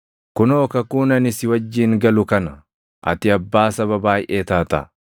“Kunoo, kakuun ani si wajjin galu kana: ati abbaa saba baayʼee taata.